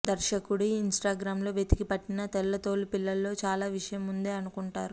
దర్శకుడు ఇన్స్టాగ్రామ్లో వెతికి పట్టిన తెల్లతోలు పిల్లలో చాలా విషయం ఉందే అనుకుంటారు